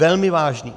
Velmi vážným!